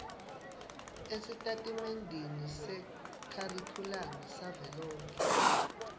esitatimendeni sekharikhulamu savelonkhe